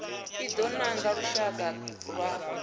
i do nanga lushaka lwa